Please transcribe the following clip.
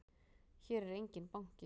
Hér er enginn banki!